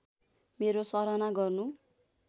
मेरो सराहना गर्नु